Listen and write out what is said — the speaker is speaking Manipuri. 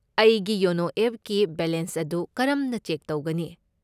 ꯑꯩꯒꯤ ꯌꯣꯅꯣ ꯑꯦꯞꯀꯤ ꯕꯦꯂꯦꯟꯁ ꯑꯗꯨ ꯀꯔꯝꯅ ꯆꯦꯛ ꯇꯧꯒꯅꯤ?